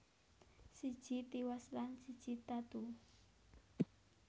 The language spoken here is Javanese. Siji tiwas lan siji tatu